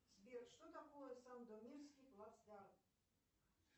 сбер что такое сандомирский плацдарм